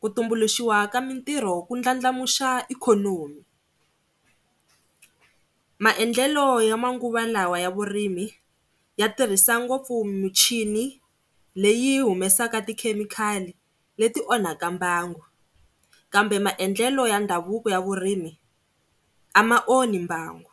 ku tumbuluxiwa ka mitirho ku ndlandlamuxa ikhonomi. Maendlelo ya manguva lawa ya vurimi ya tirhisa ngopfu muchini leyi humesaka tikhemikhali leti onhaka mbangu kambe maendlelo ya ndhavuko ya vurimi a ma onhi mbangu.